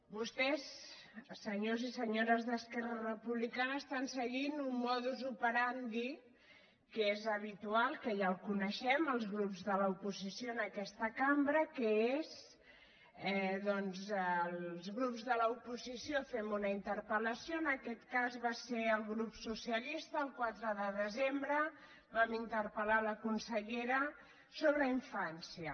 vostès senyores i senyors d’esquerra republicana estan seguint un modus operandi que és habitual que ja el coneixem els grups de l’oposició en aquesta cambra que és doncs els grups de l’oposició fem una interpel·lació en aquest cas va ser el grup socialista el quatre de desembre vam interpel·infància